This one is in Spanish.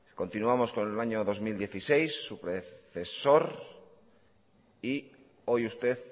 continuamos con el año dos mil dieciséis su predecesor y hoy usted